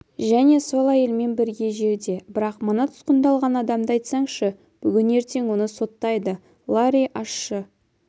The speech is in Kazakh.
және сол әйелмен бірге жерде бірақ мына тұтқындалған адамды айтсаңшы бүгін ертең оны соттайды ларри ащы